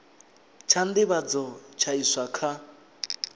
tsha nḓivhadzo tsha iswa kha